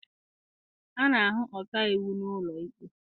A na-ahụ ọkaiwu n'ụlọ ikpe.